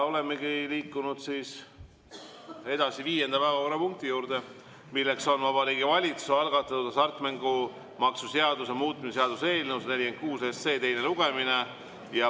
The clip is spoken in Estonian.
Olemegi liikunud viienda päevakorrapunkti juurde: Vabariigi Valitsuse algatatud hasartmängumaksu seaduse muutmise seaduse eelnõu 146 teine lugemine.